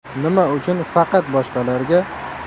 Nima uchun faqat boshqalarga?